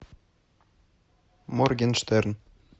моргенштерн